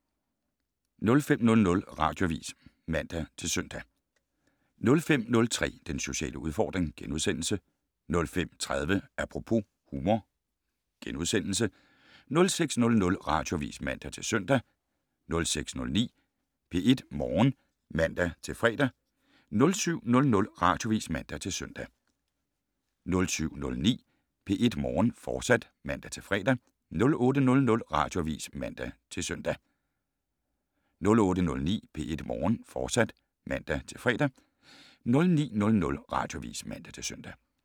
05:00: Radioavis (man-søn) 05:03: Den sociale udfordring * 05:30: Apropos - humor * 06:00: Radioavis (man-søn) 06:09: P1 Morgen (man-fre) 07:00: Radioavis (man-søn) 07:09: P1 Morgen, fortsat (man-fre) 08:00: Radioavis (man-søn) 08:09: P1 Morgen, fortsat (man-fre) 09:00: Radioavis (man-søn)